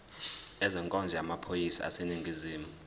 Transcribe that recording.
ezenkonzo yamaphoyisa aseningizimu